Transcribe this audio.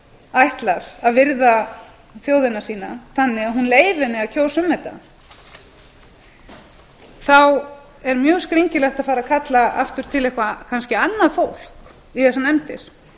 ætlar að virða þjóðina sína þannig að hún leyfi henni að kjósa um þetta er mjög skringilegt að fara að kalla aftur til eitthvert kannski annað fólk í þessar nefndir